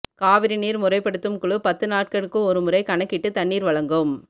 காவிரி நீர் முறைப்படுத்தும் குழு பத்து நாட்களுக்கு ஒருமுறை கணக்கிட்டு தண்ணீர் வழங்கும்